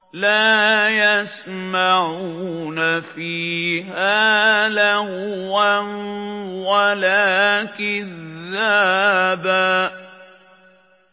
لَّا يَسْمَعُونَ فِيهَا لَغْوًا وَلَا كِذَّابًا